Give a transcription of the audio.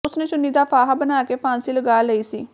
ਉਸ ਨੇ ਚੁੰਨੀ ਦਾ ਫਾਹਾ ਬਣਾ ਕੇ ਫਾਂਸੀ ਲਗਾ ਲਈ ਸੀ